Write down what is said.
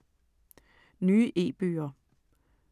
Nye e-bøger